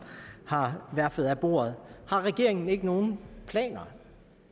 har verfet af bordet har regeringen ikke nogen planer